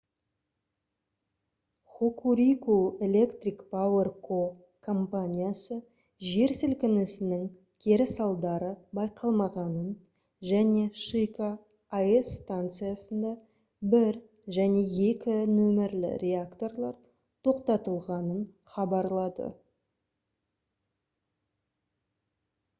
hokuriku electric power co компаниясы жер сілкінісінің кері салдарлары байқалмағанын және шика аэс станциясында 1 және 2 нөмірлі реакторлар тоқтатылғанын хабарлады